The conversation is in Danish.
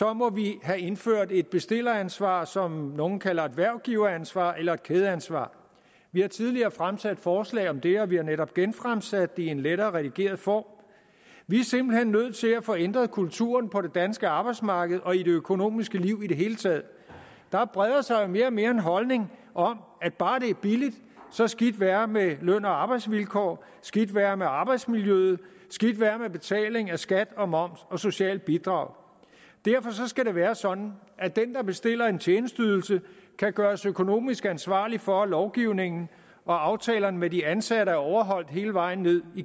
må vi have indført et bestilleransvar som nogle kalder et hvervgiveransvar eller et kædeansvar vi har tidligere fremsat forslag om det og vi har netop genfremsat det i en lettere redigeret form vi er simpelt hen nødt til at få ændret kulturen på det danske arbejdsmarked og i det økonomiske liv i det hele taget der breder sig mere og mere den holdning at bare det er billigt så skidt være med løn og arbejdsvilkår skidt være med arbejdsmiljø skidt være med betaling af skat og moms og socialt bidrag derfor skal det være sådan at den der bestiller en tjenesteydelse kan gøres økonomisk ansvarlig for at lovgivningen og aftalerne med de ansatte er overholdt hele vejen ned